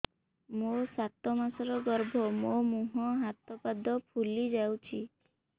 ମୋ ସାତ ମାସର ଗର୍ଭ ମୋ ମୁହଁ ହାତ ପାଦ ଫୁଲି ଯାଉଛି